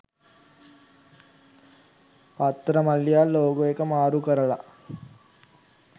පත්තර මල්ලියාත් ලෝගෝ එක මාරු කරලා.